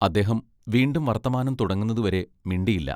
അദ്ദേഹം വീണ്ടും വർത്തമാനം തുടങ്ങുന്നതുവരെ മിണ്ടിയില്ല.